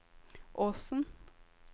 Åsen